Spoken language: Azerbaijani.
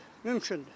Mümkündür.